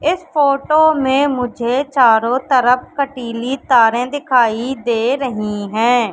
इस फोटो में मुझे चारों तरफ कटीली तारें दिखाई दे रही हैं।